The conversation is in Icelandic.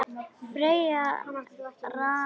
Ferjan rann nær landi.